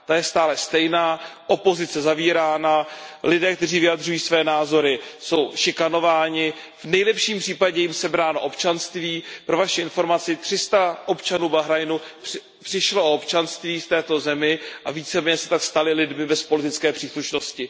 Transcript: Ta je stále stejná, opozice je zavírána, lidé, kteří vyjadřují své názory, jsou šikanováni, v nejlepším případě je jim sebráno občanství. Pro vaši informaci 300 občanů Bahrajnu přišlo o občanství v této zemi a víceméně se tak stali lidmi bez politické příslušnosti.